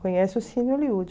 conhece o Cine Hollywood.